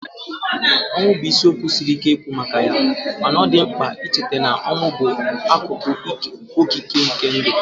Ọnwụ bụ isiokwu siri ike ikwu maka ya, mana ọ dị mkpa icheta na ọnwụ bụ akụkụ okike nke ndụ